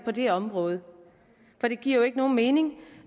det område for det giver jo ikke nogen mening